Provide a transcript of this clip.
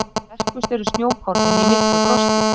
Sterkust eru snjókornin í miklu frosti.